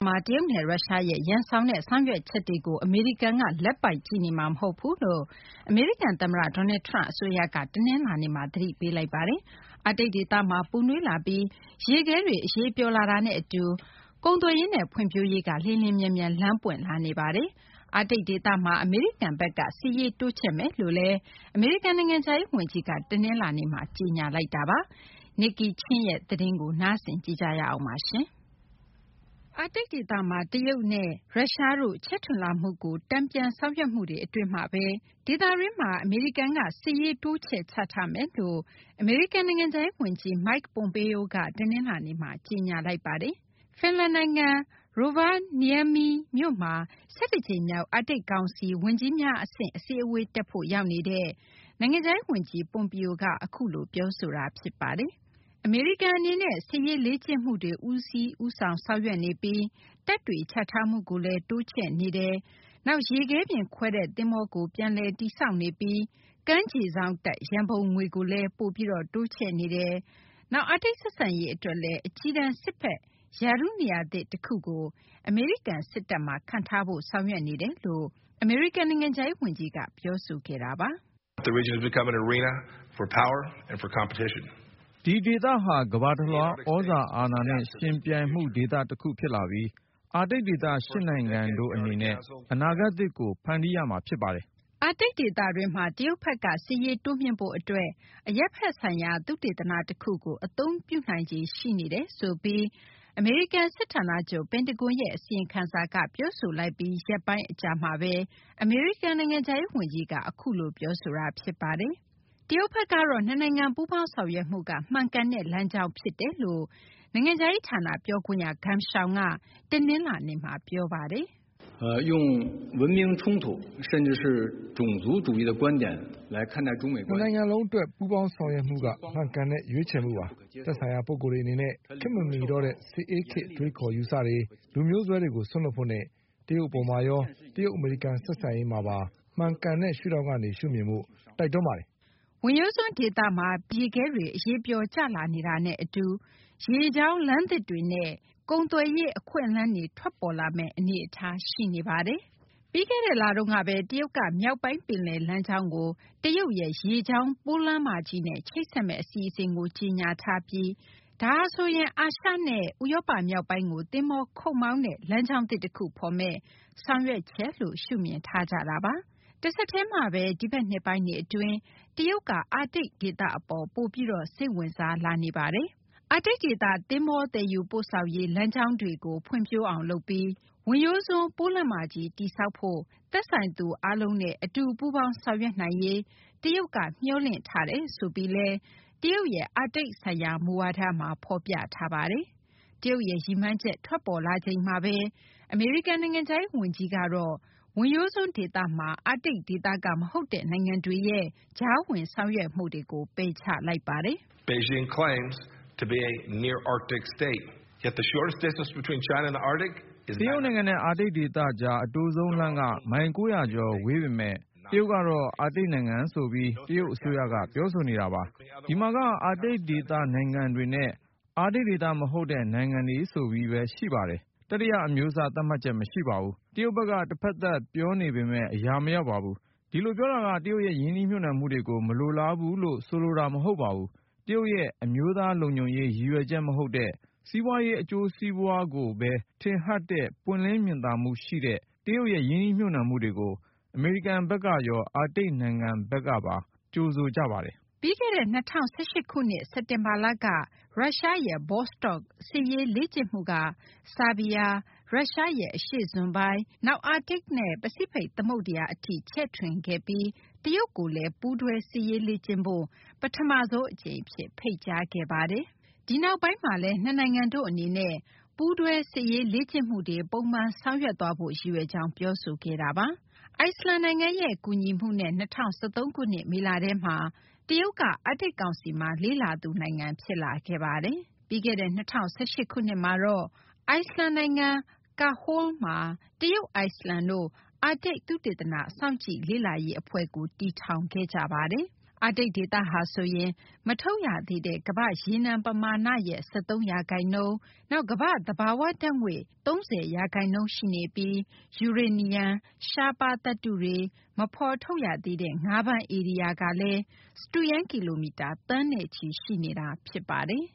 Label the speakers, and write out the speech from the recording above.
Speaker 1: မှာ တရုတ်နဲ့ ရုရှားရဲ့ ရန်စောင်တဲ့ ဆောင်ရွက်ချက်တွေကို အမေရိကန်က လက်ပိုက်ကြည့်နေမှာ မဟုတ်ဘူးလို့ အမေရိကန် သမ္မတ Donald Trump အစိုးရက တနလာၤနေ့မှာ သတိပေးလိုက်ပါတယ်။ အာတိတ်ဒေသမှာ ပူနွေးလာပြီး ရေခဲတွေ အရည်ပျော်လာတာနဲ့ အတူ ကုန်သွယ်ရေးနဲ့ ဖွံ့ဖြိုးရေးက လျင်လျင်မြန်မြန် လမ်းပွင့်လာနေပါတယ်။ အာတိတ် ဒေသမှာ အမေရိကန်ဘက်က စစ်ရေးတိုးချဲ့မယ်လို့ အမေရိကန် နိုင်ငံခြားရေး ဝန်ကြီးက တနလာၤနေ့မှာ ကြေညာခဲ့ပါတယ်။ Nike Ching ရဲ့ သတင်းကို မသိင်္ဂ ီထိုက် ပြောပြပေးမှာပါ။ အာတိတ်ဒေသမှာ တရုတ်နဲ့ ရုရှားတို့ ချဲ့ထွင်လာမှုကို တန်ပြန်ဆောင်ရွက်မှုတွေ အတွင်းမှာဘဲ ဒေသတွင်းမှာ အမေရိကန်ဘက်က စစ်ရေးတိုးချဲ့ချထားမယ်လို့ အမေရိကန် နိုင်ငံခြားရေး ဝန်ကြီး Mike Pompeo က တနလာၤနေ့မှာ ကြေညာလိုက်တာပါ။ ဖင်လန်နိုင်ငံ Rovaniemi မြို့မှာ ၁၁ ကြိမ်မြောက် အာတိတ် ကောင်စီ ဝန်ကြီးများ အဆင့် အစည်းအဝေးတက်ဖို့ ရောက်နေတဲ့ နိုင်ငံခြားရေး ဝန်ကြီး Pompeo က အခုလို ပြောဆိုသွားတာ ဖြစ်ပါတယ်။ အမေရိကန် အနေနဲ့ စစ်ရေးလေ့ကျင့်မှုတွေ ဦးဆောင်ဆောင်ရွက်နေပြီး တပ်တွေ ချထားမှုကိုလည်း တိုးချဲ့နေပါတယ်။ နောက် ရေခဲပြင်ခွဲတဲ့ သဘောၤကို ပြန်လည်တင်ဆောက်နေပြီး ကမ်းခြေစောင့်တပ် ရံပုံငွေကိုလည် ပိုတိုးချဲ့နေပါတယ်။ နောက် အာတိတ် ဆက်ဆံရေးအတွက်လည်း အကြီးတန်း စစ်ဘက် ရာထူးနေရာသစ် တခုကို အမေရိကန် စစ်တပ်မှာ ခန့်ထားဖို့ ဆောင်ရွက်နေတယ်လို့ အမေရိကန် နိုင်ငံခြားရေး ဝန်ကြီးက ပြောဆိုခဲ့ပါတယ်။ “
Speaker 2: ဒီဒေသဟာဆိုရင် ကမ္ဘာတလွှား သြဇာအာဏာနဲ့ ယှဉ်ပြိုင်မှု ဒေသတခုဖြစ်လာပြီး အာတိတ်ဒေသ ၈ နိုင်ငံတို့ အနေနဲ့ အနာဂတ်သစ်ကို ဖန်တီးရမှာ ဖြစ်ပါတယ်
Speaker 1: ။ ” အာတိတ်ဒေသတွင်းမှာ တရုတ်ဘက်က စစ်ရေးတိုးမြှင့်ဖို့ အတွက် အရပ်ဘက်ဆိုင်ရာ သုတေသနတခုကို အသုံးပြုနိုင်ခြေ ရှိနေတယ်လို့ အမေရိကန် စစ်ဌာနချုပ် ပင်တဂွန်ရဲ့ အစီရင်ခံစာက ပြောဆိုပြီး ရက်ပိုင်း အကြာမှာဘဲ အခု အမေရိကန် နိုင်ငံခြားရေး ဝန်ကြီးက အခုလို ပြောဆိုလိုက်တာလည်း ဖြစ်ပါတယ်။ တရုတ်ဘက်ကတော့ နှစ်နိုင်ငံ ပူးပေါင်းဆောင်ရွက်မှုက မှန်ကန်တဲ့ လမ်းကြောင်းဖြစ်တယ်လို့ တရုတ် နိုင်ငံခြားရေး ဌာန ပြောခွင့်ရ Geng Shuang က တနလာၤနေ့မှာ ပြောဆိုသွားပါတယ်
Speaker 2: ။ "နှစ်နိုင
Speaker 1: ်ငံစလုံး အတွက် ပူးပေါင်းဆောင်ရွက်မှုက မှန်ကန်တဲ့ ရွေးချယ
Speaker 2: ်မှုပါ။ သက်ဆိုင်ရာ ပုဂ္ဂိုလ်တွေ အနေနဲ့ ခေတ်မမီတော့တဲ့ စစ်အေးခေတ် အတွေးအခေါ် အယူအဆတွေ၊ လူမျိုးစွဲတွေကို စွန့်လွှတ်ဖို့နဲ့ တရုတ် အပေါ်မှာရော၊ တရုတ် အမေရိကန် ဆက်ဆံရေးမှာပါ မှန်ကန်တဲ့ ရှုထောင့်ကနေ ရှုမြင်ဖို့ တိုက်တွန်းပါတယ်။
Speaker 1: " ဝင်ရိုးစွန်း ဒေသမှာ ပင်လယ်ပြင် ရေခဲတွေ အရည်ပျော်ကျလာနေတာနဲ့ အတူ ရေကြောင်းလမ်းသစ်တွေနဲ့ ကုန်သွယ်ရေး အခွင့်အလမ်းတွေ ထွက်ပေါ်လာမယ့် အနေအထား ရှိနေပါတယ်။ ပြီးခဲ့တဲ့ လတုန်းကဘဲ ရုရှားက မြောက်ပိုင်း ပင်လယ်လမ်းကြောင်းကို တရုတ်ရဲ့ ရေကြောင်း ပိုးလမ်းမကြီးနဲ့ ချိတ်ဆက်မယ့် အစီအစဉ်ကို ကြေညာလိုက်ပြီး ဒါဟာဆိုရင် အာရှနဲ့ ဥရောပ မြောက်ပိုင်းကို သဘောၤခုတ်မောင်းတဲ့ လမ်းကြောင်းသစ် တခုဖော်မယ့် ဆောင်ရွက်ချက်လို့ ရှုမြင်ထားကြတာပါ။ တဆက်တည်းမှာဘဲ ဒီဘက်နှစ်ပိုင်းတွေ အတွင်းမှာ တရုတ်က အာတိတ် ဒေသအပေါ် ပိုပြီး စိတ်ဝင်စားလာနေပါတယ်။ အာတိတ်ဒေသ သဘောၤ သယ်ယူပို့ဆောင်ရေး လမ်းကြောင်းတွေကို ဖွံ့ဖြိုးအောင် လုပ်ပြီး ဝင်ရိုးစွန်း ပိုးလမ်းမကြီး တည်ဆောက်ဖို့ သက်ဆိုင်သူ အားလုံးနဲ့ အတူပူးပေါင်းဆောင်ရွက်နိုင်ရေး တရုတ်က မျှော်လင့်တယ်ဆိုပြီး တရုတ်ရဲ့ အာတိတ် ဆိုင်ရာ မူဝါဒမှာ ဖော်ပြထားပါတယ်။ တရုတ်ရဲ့ ရည်မှန်းချက်ထွက်ပေါ်လာချိန်မှာဘဲ အမေရိကန် နိုင်ငံခြားရေး ဝန်ကြီးကတော့ ဝင်ရိုးစွန်း ဒေသမှာ အာတိတ်ဒေသက မဟုတ်တဲ့ နိုင်ငံတွေရဲ့ ကြားဝင်ဆောင်ရွက်မှုတွေကို ပယ်ချလိုက်ပါတယ်
Speaker 2: ။ "တရုတ်နိုင်ငံနဲ့ အာတိတ်ဒေသကြား အတိုဆုံး လမ်းက မိုင် ၉၀၀ ကျော် ဝေးပေမယ့် တရုတ်က အာတိတ် နိုင်ငံဆိုပြီး တရုတ် အစိုးရက ပြောဆိုနေတာပါ။ ဒီမှာက အာတိတ်ဒေသ နိုင်ငံတွေနဲ့ အာတိတ် ဒေသက မဟုတ်တဲ့ နိုင်ငံတွေဆိုပြီးဘဲ ရှိပါတယ်။ တတိယ အမျိုးအစား သတ်မှတ်ချက် မရှိပါဘူး။ တရုတ်ဘက်က တဖက်သတ် ပြောနေပေမယ့် အရာမရောက်ပါဘူး။ ဒီလို ပြောတာက တရုတ်ရဲ့ ရင်းနှီးမြှုပ်နှံမှုတွေကို မလိုလားဘူးလို့ ဆိုလိုတာ မဟုတ်ပါဘူး။ တရုတ်ရဲ့ အမျိုးသား လုံခြုံရေး ရည်ရွယ်ချက် မဟုတ်တဲ့ စီးပွားရေး အကျိုးစီးပွားကိုဘဲ ထင်ဟပ်တဲ့ ပွင့်လင်းမြင်သာမှု ရှိတဲ့ တရုတ်ရဲ့ ရင်းနှီးမြှုပ်နှံမှုတွေကို အမေရိကန်ဘက်ကရော အာတိတ် နိုင်ငံတွေဘက်ကရော ကြိုဆိုပါတယ်။
Speaker 1: " ပြီးခဲ့တဲ့ ၂၀၁၈ ခုနှစ် စက်တင်ဘာလက ရုရှားရဲ့ Vostok စစ်ရေးလေ့ကျင့်မှုက ဆားဘီးယား၊ ရုရှားရဲ့ အရှေ့စွန်ပိုင်း၊ နောက် အာတိတ်နဲ့ ပစိဖိတ် သမုဒ္ဒရာ အထိပါ ချဲ့ထွင်ခဲ့ပြီး တရုတ်ကိုလည်း ပူးတွဲ စစ်ရေးလေ့ကျင့်ဖို့ ပထမဆုံး အကြိမ်အဖြစ် ဖိတ်ကြားခဲ့တာပါ။ ဒီနောက်ပိုင်းမှာလည်း နှစ်နိုင်ငံတို့ အနေနဲ့ ပူးတွဲစစ်ရေး လေ့ကျင့်မှုတွေ ပုံမှန် ဆောင်ရွက်သွားဖို့ ရည်ရွယ်ကြောင်း ပြောဆိုခဲ့ပါတယ်။ အိုက်စလန်နိုင်ငံရဲ့ ကူညီမှုနဲ့ ၂၀၁၃ ခုနှစ် မေလထဲမှာ တရုတ်က အာတိတ် ကောင်စီမှာ လေ့လာသူ နိုင်ငံ ဖြစ်လာခဲ့ပါတယ်။ ပြီးခဲ့တဲ့ ၂၀၁၈ ခုနှစ်မှာတော့ အိုက်စလန်နိုင်ငံ Karholl မှာ တရုတ် - အိုက်စလန်တို့ အာတိတ် သုတေသန စောင့်ကြည့်လေ့လာရေး အဖွဲ့ကို တည်ထောင်ခဲ့ပါတယ်။ အာတိတ် ဒေသဟာဆိုရင် မထုတ်ရသေးတဲ့ ကမ္ဘာ့ရေနံ ပမာဏရဲ့ ၁၃ ရာခိုင်နှုန်း၊ နောက် ကမ္ဘာ့ သဘာ၀ ဓာတ်ငွေ့ ၃၀ ရာခိုင်နှုန်းရှိနေပြီး ယူရေနီယံ၊ ရှားပါး သတ္တုတွေ၊ နောက် မဖော်ထုတ်ရသေးတဲ့ ငါးဖမ်းဧရိယာကလည်း စတုရန်း ကီလိုမီတာ သန်းနဲ့ချီ ရှိနေတာ ဖြစ်ပါတယ်